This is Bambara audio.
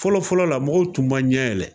Fɔlɔ fɔlɔ la, mɔgɔw tun ma ɲɛ yɛlɛ